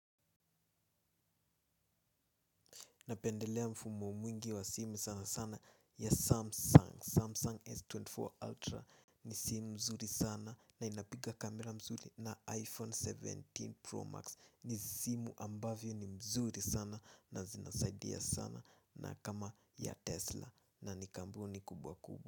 Napendelea mfumo mwingi wa simu sana sana ya Samsung Samsung S24 Ultra ni simu mzuri sana na inapiga kamera mzuri na iPhone kumi na saba Pro Max ni simu ambavyo ni mzuri sana na zinasaidia sana na kama ya Tesla na ni kampuni kubwa kubwa.